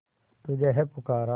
तुझे है पुकारा